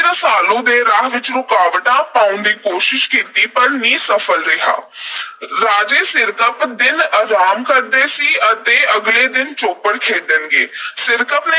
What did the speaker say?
ਰਸਾਲੂ ਦੇ ਰਾਹ ਵਿੱਚ ਰੁਕਾਵਟਾਂ ਪਾਉਣ ਦੀ ਕੋਸ਼ਿਸ਼ ਕੀਤੀ, ਪਰ ਨਿਸਫਲ ਰਿਹਾ। ਰਾਜੇ ਸਿਰਕੱਪ ਦਿਨ ਅਰਾਮ ਕਰਦੇ ਸੀ ਅਤੇ ਅਗਲੇ ਦਿਨ ਚੌਪੜ ਖੇਡਣਗੇ। ਸਿਰਕੱਪ ਨੇ